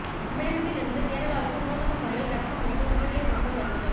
தமிழகத்தில் இருந்து கேரளாவுக்கு நூதன முறையில் கடத்த முயன்ற புகையிலைப் பொருட்கள் பறிமுதல்